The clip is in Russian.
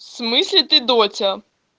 в смысле ты доча